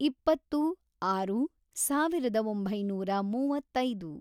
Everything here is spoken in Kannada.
ಇಪ್ಪತ್ತು, ಆರು, ಸಾವಿರದ ಒಂಬೈನೂರ ಮೂವತ್ತೈದು